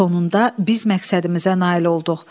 Sonunda biz məqsədimizə nail olduq.